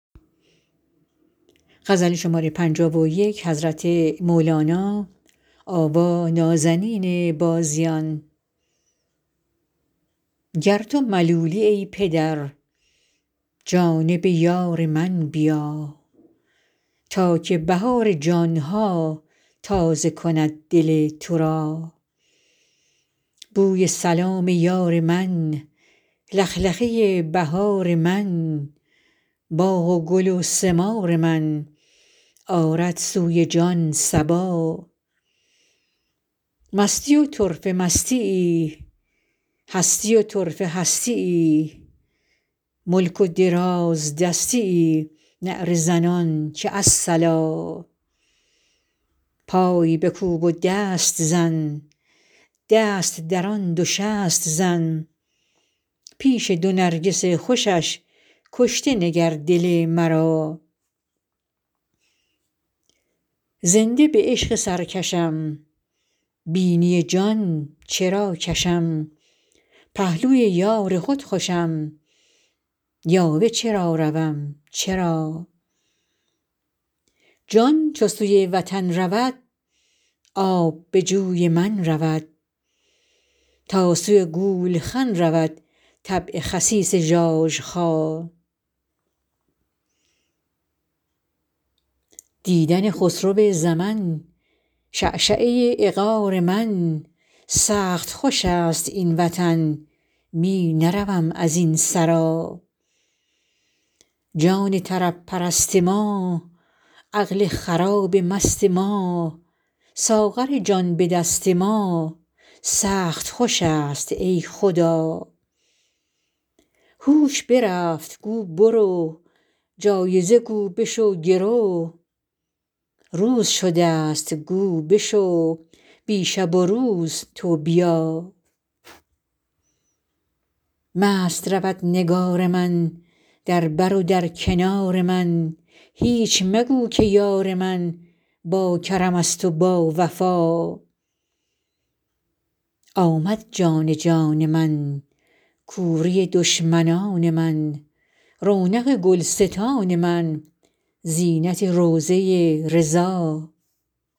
گر تو ملولی ای پدر جانب یار من بیا تا که بهار جان ها تازه کند دل تو را بوی سلام یار من لخلخه ی بهار من باغ و گل و ثمار من آرد سوی جان صبا مستی و طرفه مستی ای هستی و طرفه هستی ای ملک و دراز دستی ای نعره زنان که الصلا پای بکوب و دست زن دست درآن دو شست زن پیش دو نرگس خوشش کشته نگر دل مرا زنده به عشق سرکشم بینی جان چرا کشم پهلوی یار خود خوشم یاوه چرا روم چرا جان چو سوی وطن رود آب به جوی من رود تا سوی گولخن رود طبع خسیس ژاژخا دیدن خسرو زمن شعشعه عقار من سخت خوش است این وطن می نروم از این سرا جان طرب پرست ما عقل خراب مست ما ساغر جان به دست ما سخت خوش است ای خدا هوش برفت گو برو جایزه گو بشو گرو روز شده ست گو بشو بی شب و روز تو بیا مست رود نگار من در بر و در کنار من هیچ مگو که یار من باکرمست و باوفا آمد جان جان من کوری دشمنان من رونق گلستان من زینت روضه ی رضا